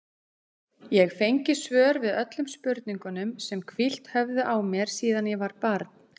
Ég fengi svör við öllum spurningunum sem hvílt höfðu á mér síðan ég var barn.